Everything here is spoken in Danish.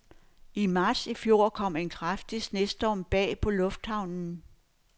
I marts i fjor kom en kraftig snestorm bag på lufthavnen.